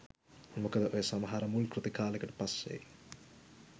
මොකද ඔය සමහර මුල්කෘති කාලෙකට පස්සෙ